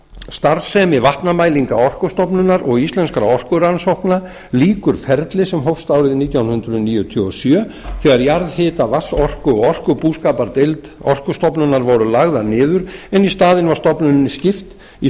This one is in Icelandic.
starfsemi vatnamælinga orkustofnunar og íslenskra orkurannsókna lýkur ferli sem hófst árið nítján hundruð níutíu og sjö þegar jarðhita vatnsorku og orkubúskapardeildir orkustofnunar voru lagðar niður en í staðinn var stofnuninni skipt í